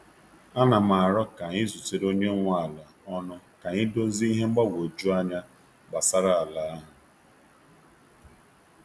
A na m aro ka anyị zutere onye nwe ala ọnụ ka anyị dozie ihe mgbagwoju anya gbasara ala ahụ.